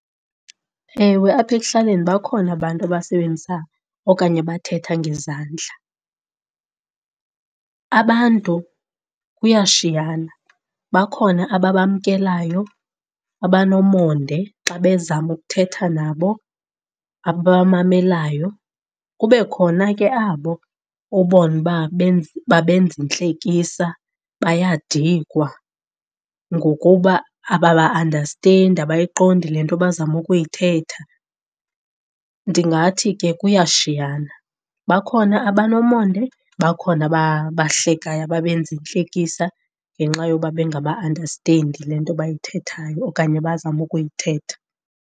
Ewe, apha ekuhlaleni bakhona abantu abasebenzisa okanye abathetha ngezandla. Abantu kuyashiyana, bakhona ababamkelayo, abanomonde xa bezama ukuthetha nabo, ababamamelayo, kube khona ke abo ubone uba babenza intlekisa, bayadikwa ngokuba ababa-andastendi, abayiqondi le nto bazama ukuyithetha. Ndingathi ke kuyashiyana, bakhona abanomonde bakhona ababahlekeyo, ababenza intlekisa ngenxa yoba bengaba-andastendi le nto bayithethayo okanye bazama ukuyithetha.